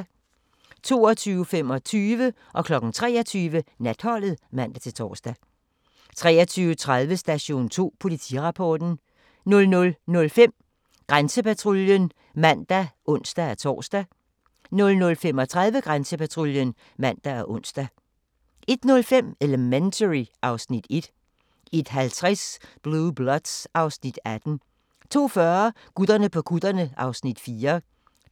22:25: Natholdet (man-tor) 23:00: Natholdet (man-tor) 23:30: Station 2: Politirapporten 00:05: Grænsepatruljen (man og ons-tor) 00:35: Grænsepatruljen (man og ons) 01:05: Elementary (Afs. 1) 01:50: Blue Bloods (Afs. 18) 02:40: Gutterne på kutterne (Afs. 4)